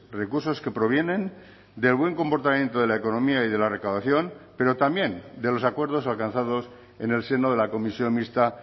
recursos que provienen del buen comportamiento de la economía y de la recaudación pero también de los acuerdos alcanzados en el seno de la comisión mixta